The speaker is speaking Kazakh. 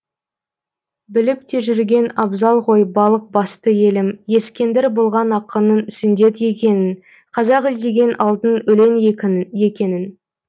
біліп те жүрген абзал ғой балық басты елім ескендір болған ақынның сүндет екенін қазақ іздеген алтынның өлең екенін